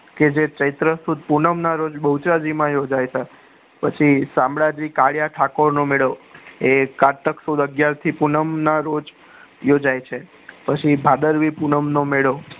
કે જે ચેત્ર સુદ પુનમ ના રોજ બહુજરાજી માં યોજાય તા પછી શામળાજી કારિયા ઠાકોર નો મેલો એ કારતક સુદ પુનમ ના રોજ યોજાય છે પછી ભાદરવી પુનમાં નો મેળો